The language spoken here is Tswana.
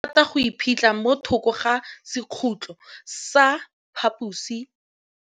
Legôtlô le rata go iphitlha mo thokô ga sekhutlo sa phaposi.